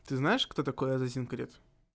ты знаешь кто такой азазин крит